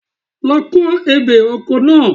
Lọ ko ebè oko náà.